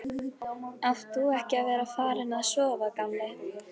Átt þú ekki að vera farinn að sofa, gamli?